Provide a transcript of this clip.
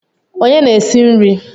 Onye na-esi nri?